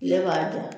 Kile b'a da